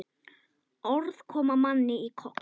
Orð koma manni í koll.